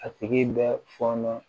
A tigi bɛ fɔnɔ